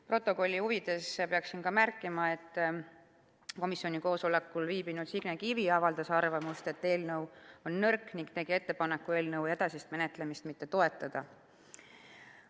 Protokolli huvides pean märkima, et komisjoni koosolekul viibinud Signe Kivi avaldas arvamust, et eelnõu on nõrk, ning tegi ettepaneku eelnõu edasist menetlemist mitte toetada.